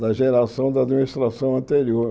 Da geração da administração anterior.